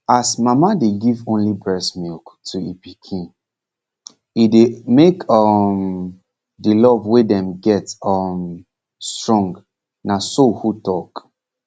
as mama dey give only breast milk to e pikin e dey make um de love wey dem get um strong na so who talk